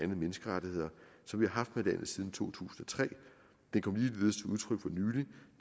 menneskerettigheder som vi har haft med landet siden to tusind og tre den kom ligeledes